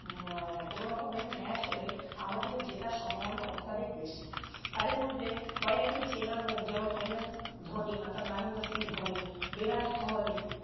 কোনোরকমের match জেতার সম্ভাবনা অত্যাধিক বেশি। তাদের মধ্যে কয়েকটি চেনা মুখ যেমন MS ধোনি অর্থাৎ মহেন্দ্র সিং ধোনি, ভিরাট কোহলি